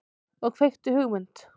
Og kveikti hugmynd.